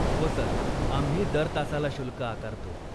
हो सर, आम्ही दर तासाला शुल्क आकारतो.